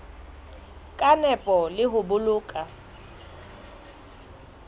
ka nepo le ho boloka